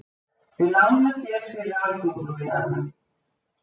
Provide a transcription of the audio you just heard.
Við lánum þér fyrir aðgöngumiðanum.